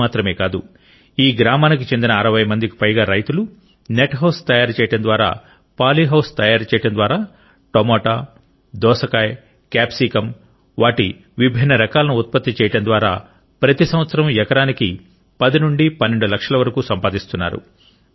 ఇది మాత్రమే కాదు ఈ గ్రామానికి చెందిన 60 మందికి పైగా రైతులు నెట్ హౌస్ తయారు చేయడం ద్వారా పాలీ హౌస్ తయారు చేయడం ద్వారా టమోటా దోసకాయ క్యాప్సికమ్ వాటి విభిన్న రకాలను ఉత్పత్తి చేయడం ద్వారా ప్రతి సంవత్సరం ఎకరానికి 10 నుండి 12 లక్షల వరకు సంపాదిస్తున్నారు